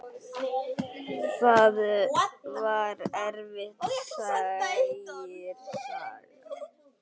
Það var erfitt, segir sagan.